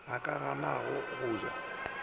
a ka ganago go ja